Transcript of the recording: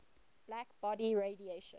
black body radiation